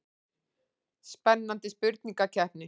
Spennandi spurningakeppni.